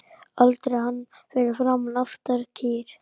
Aldrei hann fyrir aftan kýr